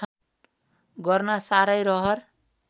गर्न साह्रै रहर